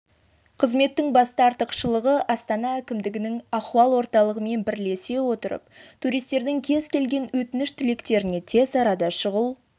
қызметтің басты артықшылығы астана әкімдігінің ахуал орталығымен бірлесе отырып туристердің кез келген өтініш-тілектеріне тез арада шұғыл